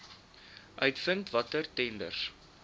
uitvind watter tenders